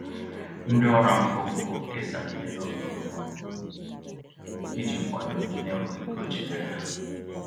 Ndị ọrụ afọ ofufo kesara ihe n'oge okpomọkụ iji kwado ndị naenweghị k'oji dịrị há